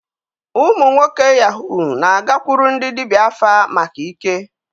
Ụmụ nwoke Yahoo na-agakwuru ndị dibịa afa maka ike.